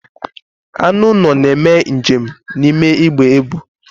Anụ ụlọ na-eme njem n'ime igbe ebu.